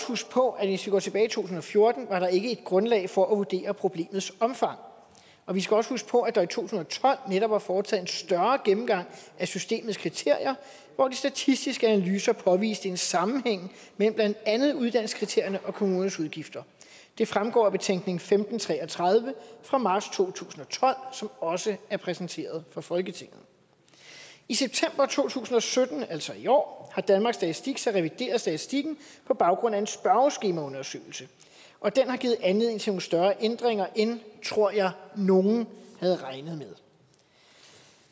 huske på at hvis vi går tilbage tusind og fjorten var der ikke grundlag for at vurdere problemets omfang og vi skal også huske på at der i to tusind og tolv netop var foretaget en større gennemgang af systemets kriterier hvor de statistiske analyser påviste en sammenhæng mellem blandt andet uddannelseskriterierne og kommunernes udgifter det fremgår af betænkning nummer femten tre og tredive fra marts to tusind og tolv som også er præsenteret for folketinget i september to tusind og sytten altså i år har danmarks statistik så revideret statistikken på baggrund af en spørgeskemaundersøgelse og den har givet anledning til nogle større ændringer end tror jeg nogen havde regnet med